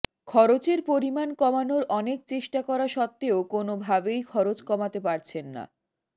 খরচের পরিমাণ কমানোর অনেক চেষ্টা করা সত্ত্বেও কোনওভাবেই খরচ কমাতে পারছেন না